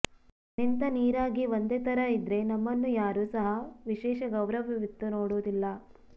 ನಿಂತ ನೀರಾಗಿ ಒಂದೇ ತರ ಇದ್ರೆ ನಮ್ಮನ್ನು ಯಾರೂ ಸಹ ವಿಶೇಷ ಗೌರವವಿತ್ತು ನೋಡುವುದಿಲ್ಲ